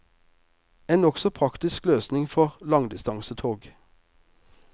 En nokså praktisk løsning for langdistansetog.